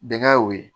Bɛnkɛ y'o ye